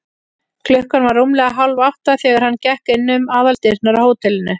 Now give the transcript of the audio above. Klukkan var rúmlega hálfátta, þegar hann gekk inn um aðaldyrnar á hótelinu.